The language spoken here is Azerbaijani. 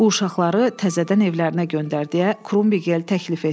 Bu uşaqları təzədən evlərinə göndər deyə Krumbigel təklif etdi.